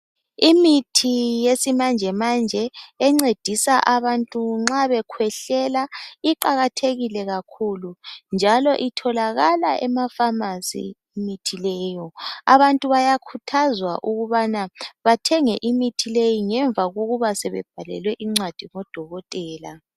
Imithi yesimanjemanje encedisa abantu nxa bekhwehlela iqakathekile kakhulu njalo itholakala ema phamarcy imithi leyo abantu bayakhuthazwa ukubana bathenge imithi leyi ngemva kokuba sebebhalelwe incwadi ngodokotela.